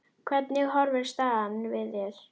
Hvernig horfir staðan við þér?